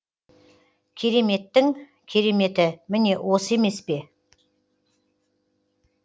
кереметтің кереметі міне осы емес пе